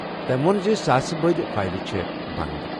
تٔمۍ ووٚن زِ ساسہٕ بٔدۍ فایلہٕ چھِ بنٛد۔